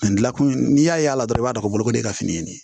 dilan kun n'i y'a y'a la dɔrɔn i b'a dɔn bolokoden ka fini